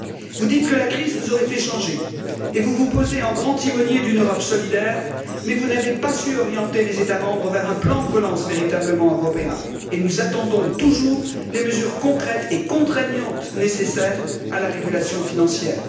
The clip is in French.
Vous dites que la crise vous aurait fait changer et vous vous posez en grand timonier d'une Europe solidaire, mais vous n'avez pas su orienter les États membres vers un plan de relance véritablement européen, et nous attendons toujours les mesures concrètes et contraignantes nécessaires à la régulation financière.